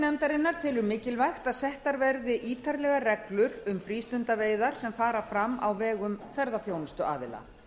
nefndarinnar telur mikilvægt að settar verði ítarlegar reglur um frístundaveiðar sem fara fram á vegum ferðaþjónustuaðila